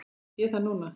Ég sé það núna!